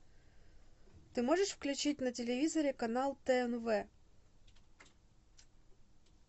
ты можешь включить на телевизоре канал тнв